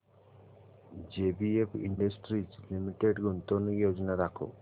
JBF industries limited गुंतवणूक योजना दाखव